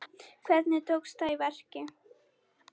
Hvernig tókst það í verki?